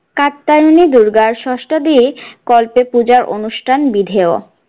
কাত্যায়নী দূর্গার ষষ্ঠাদি কল্পে পূজার অনুষ্ঠান বিধেয়।